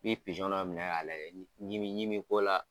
Bi dɔminɛ ka lajɛ ɲimi ko la.